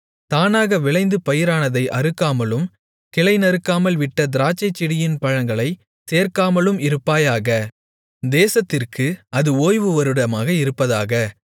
தானாக விளைந்து பயிரானதை அறுக்காமலும் கிளைநறுக்காமல்விட்ட திராட்சைச்செடியின் பழங்களைச் சேர்க்காமலும் இருப்பாயாக தேசத்திற்கு அது ஓய்வு வருடமாக இருப்பதாக